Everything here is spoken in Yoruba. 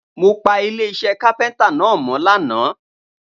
I cleaned the carpenter's shop yesterday